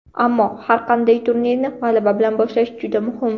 Ammo har qanday turnirni g‘alaba bilan boshlash juda muhim.